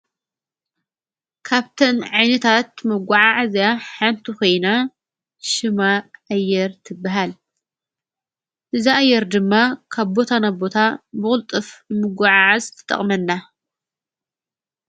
ካብተን ዕይኒታት መጕዓዕእዝያ ሓንቲ ኾይና ሽማ ኣየር ትብሃል እዛ እየር ድማ ካብቦታ ናቦታ በቕልጥፍ ምጐዓዓዝ ትጠቕመና።